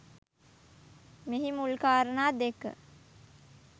මෙහි මුල් කාරණා දෙක